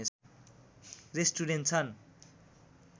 restaurant छन्